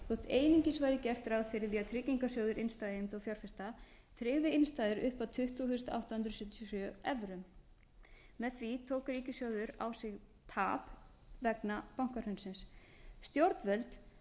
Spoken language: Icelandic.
einungis væri gert ráð fyrir því að tryggingarsjóður innstæðueigenda og fjárfesta tryggði innstæður upp að tuttugu þúsund átta hundruð sjötíu og sjö evrum með því tók ríkissjóður á sig tap vegna bankahrunsins stjórnvöld